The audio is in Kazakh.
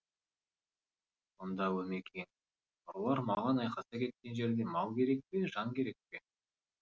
сонда өмекең ұрылар маған айқаса кеткен жерде мал керек пе жан керек пе